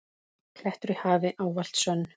klettur í hafi, ávallt sönn.